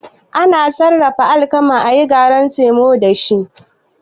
Ana Sarrafa alkama ayi garin samo dashi